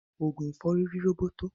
Ogun ìfọ́rí ri roboto.